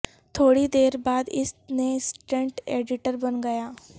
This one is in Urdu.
تھوڑی دیر بعد اس نے اسسٹنٹ ایڈیٹر بن گیا